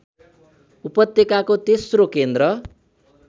उपत्यकाको तेस्रो केन्द्र